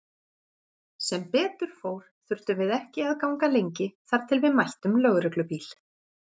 Sem betur fór þurftum við ekki að ganga lengi þar til við mættum lögreglubíl.